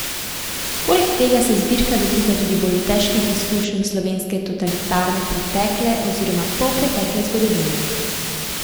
Poleg tega se zbirka dotika tudi bolj težkih izkušenj slovenske totalitarne pretekle oziroma polpretekle zgodovine.